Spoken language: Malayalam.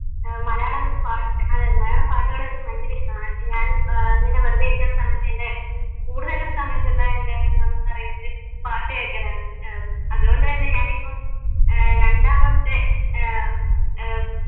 അഹ് മലയാളം പാട്ടുകൾ എനിക്ക് ഭയങ്കരം ഇഷ്ട്ടമാണ് ഞാൻ ഏർ ഇങ്ങനെ വെറുതെ ഇരിക്കുന്ന സമയത്ത് എൻ്റെ ഏർ സമയത്തുള്ള എൻ്റെ പറയുന്നത് പാട്ടുകേക്കലാണ് ഏർ അതുകൊണ്ട് തന്നെ ഞാൻ ഇപ്പം ഏർ രണ്ടാമത്തെ ഏർ